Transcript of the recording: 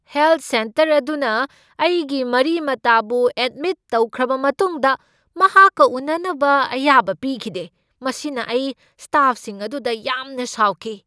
Health centre ꯑꯗꯨꯅ ꯑꯩꯒꯤ ꯃꯔꯤ ꯃꯇꯥꯕꯨ ꯑꯦꯗꯃꯤꯠ ꯇꯧꯈ꯭ꯔꯕ ꯃꯇꯨꯡꯗ ꯃꯍꯥꯛꯀ ꯎꯅꯅꯕ ꯑꯌꯥꯕ ꯄꯤꯈꯤꯗꯦ꯫ ꯃꯁꯤꯅ ꯑꯩ ꯁ꯭ꯇꯥꯐꯁꯤꯡ ꯑꯗꯨꯗ ꯌꯥꯝꯅ ꯁꯥꯎꯈꯤ꯫